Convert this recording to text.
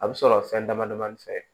A bɛ sɔrɔ fɛn dama damanin fɛ